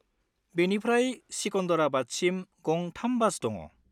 बेनिफ्राय सिकन्दराबादसिम गं 3 बास दङ।